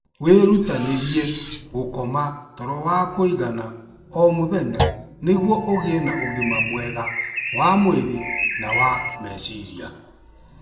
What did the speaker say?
Wĩrutanĩrie gũkoma toro wa kũigana o mũthenya nĩguo ũgĩe na ũgima mwega wa mwĩrĩ na wa meciria.